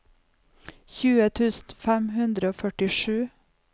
tjue tusen fem hundre og førtisju